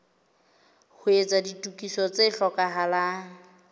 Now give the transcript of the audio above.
ho etsa ditokiso tse hlokahalang